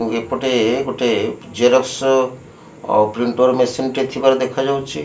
ଏପଟେ ଗୋଟେ ଜେରକ୍ସ ଓ ପ୍ରିଂଟର୍ ମେସିନ ଟିଏ ଥିବାର ଦେଖାଯାଉଛି।